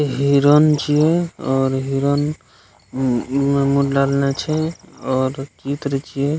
हिरण छै और हिरण मुँह मे मुँह डाले छै और की करे छीये।